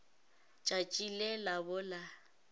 tšatši le la bo la